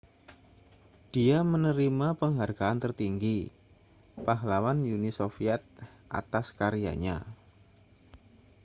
dia menerima penghargaan tertinggi pahlawan uni soviet atas karyanya